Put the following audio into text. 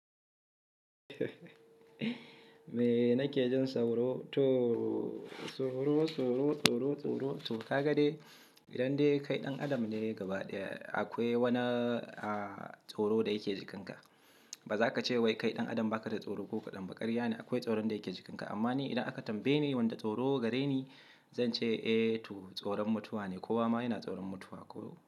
Me nake jin sauro? To, tsoro, tsoro, tsoro, tsoro. To ka ga dai, idan dai kai ɗan adam ne gaba ɗaya, akwai wani tsoro da yake jikinka. Ba za ka ce wai kai ɗan adam ba ka da tsoro ko kaɗan ba. Ƙarya ne, akwai tsoron da yake jikinka. Amma ni idan aka tambaye ni wanda tsoro gare ni, zan ce eh to tsoron mutuwa ne. Kowa ma yana tsoron mutuwa ko.